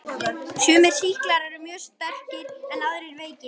Sumir sýklar eru mjög sterkir en aðrir veikir.